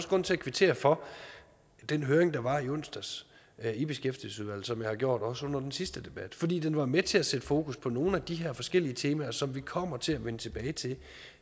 grund til at kvittere for den høring der var i onsdags i beskæftigelsesudvalget som jeg har gjort også under den sidste debat fordi den var med til at sætte fokus på nogle af de her forskellige temaer som vi kommer til at vende tilbage til